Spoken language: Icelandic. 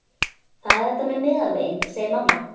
Það er þetta með meðalveginn, segir mamma.